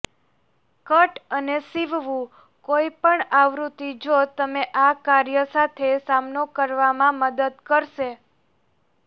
cut અને સીવવું કોઈપણ આવૃત્તિ જો તમે આ કાર્ય સાથે સામનો કરવામાં મદદ કરશે